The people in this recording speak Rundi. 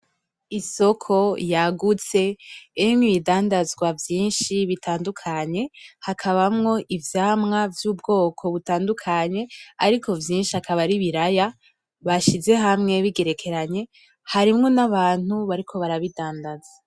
Isoko yagutse irimwo ibidandazwa vyinshi bitandukanye, hakabamwo ivyamwa vy'ubwoko butandukanye ariko vyinshi akaba ari ibiraya bashize hamwe bigerekeranye, harimwo n'abantu bariko barabidandaza .